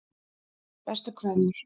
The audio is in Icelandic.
Bestu kveðjur